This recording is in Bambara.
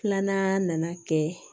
Filanan nana kɛ